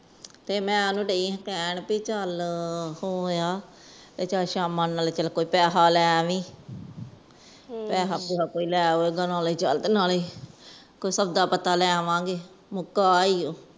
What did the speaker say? ਤੇ ਮੈਂ ਓਹਨੂੰ ਡਾਯੀ ਆ ਕਹਿਣ ਵੀ ਚਲ ਹੋ ਆ ਸ਼ਮਾ ਨੂੰ ਕੋਜ ਪੈਸੇ ਲੈ ਆਵੀਂ ਨਾਲੇ ਸੋਦਾ ਪਤਾ ਲੈ ਆਵਾ ਗਏ ਮੁੱਕ ਏ ਓ